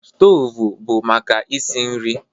Stovu bụ maka isi nri